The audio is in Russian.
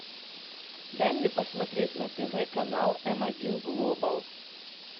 дай мне посмотреть на тв канал м один глобал